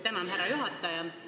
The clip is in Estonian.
Tänan, härra juhataja!